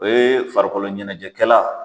O ye farikolo ɲɛnajɛkɛlan